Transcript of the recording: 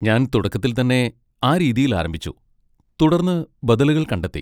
ഞാൻ തുടക്കത്തിൽത്തന്നെ ആ രീതിയിൽ ആരംഭിച്ചു, തുടർന്ന് ബദലുകൾ കണ്ടെത്തി.